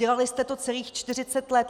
Dělali jste to celých 40 let.